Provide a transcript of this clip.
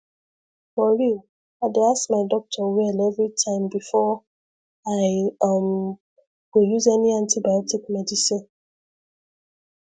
for real i dey ask my doctor well everytime before i um go use any antibiotic medicine